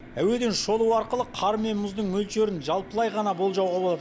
әуеден шолу арқылы кар мен мұздың мөлшерін жалпылай ғана болжауға болады